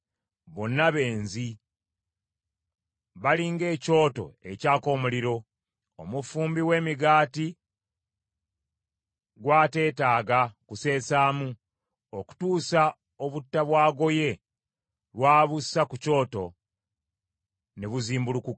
Bonna benzi; bali ng’ekyoto ekyaka omuliro, omufumbi w’emigaati gw’ateetaaga kuseesaamu okutuusa obutta bw’agoye, lwabuusa ku kyoto ne buzimbulukuka.